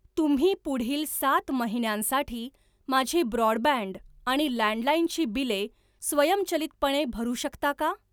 तुम्ही पुढील सात महिन्यांसाठी माझी ब्रॉडबँड आणि लँडलाईन ची बिले स्वयंचलितपणे भरू शकता का?